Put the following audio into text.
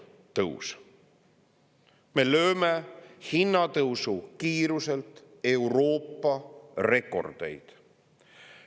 Me lööme hinnatõusu kiiruselt Euroopa rekordeid.